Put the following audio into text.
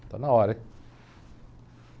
Está na hora, hein?